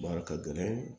a ka gɛlɛn